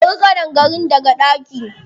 Ka kori ƙadangaren daga ɗaki.